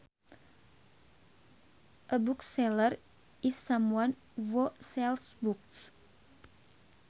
A bookseller is someone who sells books